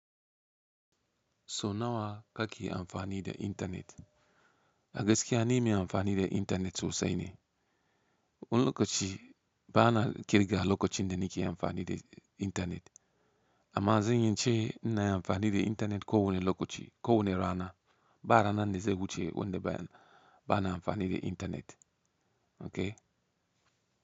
So nawa ka ke amfani da internet? A gaske an yi mai amfani da intenet sosai ne. Wani lokaci ba ana kirga lokacin da nike amfani da internet. Amma zan iyace nina yi amfani da internet ko wane lokaci, ko wane rana. Ba ranan da zai wuce ba wanda ba na amfani da internet. Okay.